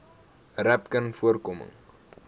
rapcanvoorkoming